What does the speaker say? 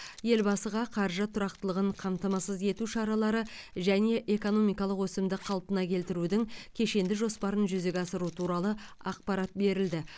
елбасыға қаржы тұрақтылығын қамтамасыз ету шаралары және экономикалық өсімді қалпына келтірудің кешенді жоспарын жүзеге асыру туралы ақпарат берілді